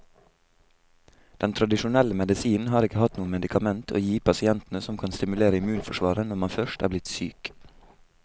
Den tradisjonelle medisinen har ikke hatt noe medikament å gi pasientene som kan stimulere immunforsvaret når man først er blitt syk.